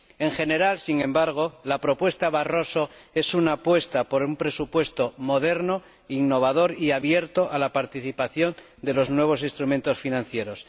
En general, sin embargo, la propuesta Barroso es una apuesta por un presupuesto moderno, innovador y abierto a la participación de los nuevos instrumentos financieros.